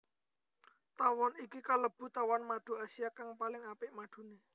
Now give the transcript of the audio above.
Tawon iki kalebu tawon madu Asia kang paling apik maduné